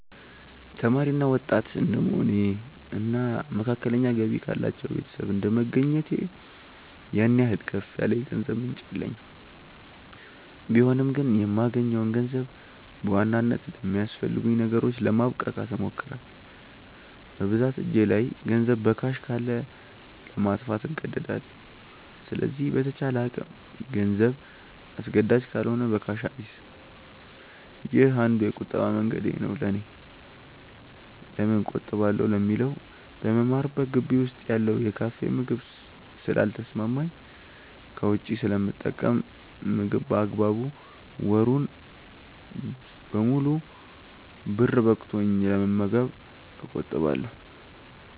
ተማሪ እና ወጣት እድንደመሆኔ እና መካከለኛ ገቢ ካላቸው ቤተሰብ እንደመገኘቴ ያን ያህል ከፍ ያለ የገንዘብ ምንጭ የለኝም ቢሆንም ግን የማገኘውን ገንዘብ በዋናነት ለሚያስፈልጉኝ ነገሮች ለማብቃቃት እሞክራለው። በብዛት እጄ ላይ ገንዘብ በካሽ ካለ ለማጥፋት እንደዳለው ስለዚህ በተቻለ አቅም ገንዘብ አስገዳጅ ካልሆነ በካሽ አልይዝም። ይህ አንዱ የቁጠባ መንገዴ ነው ለኔ። ለምን እቆጥባለው ለሚለው በምማርበት ግቢ ውስጥ ያለው የካፌ ምግብ ስለ ልተሰማማኝ ከውጪ ስለምጠቀም ምግብ በአግባቡ ወሩን ሙሉ ብር በቅቶኝ ለመመገብ እቆጥባለው።